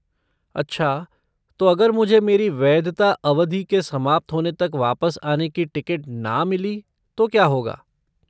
अच्छा, तो अगर मुझे मेरी वैधता अवधि के समाप्त होने तक वापस आने की टिकट ना मिली तो क्या होगा?